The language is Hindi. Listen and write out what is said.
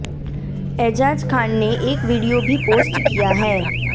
एजाज खान ने एक वीडियों भी पोस्ट किया है